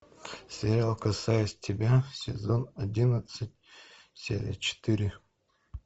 сериал касаясь тебя сезон одиннадцать серия четыре